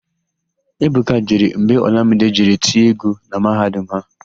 Ebuka jere mgbe Ọlamide jere tie égwú na mahadum ha.